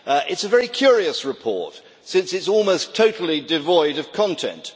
It is a very curious report since it is almost totally devoid of content.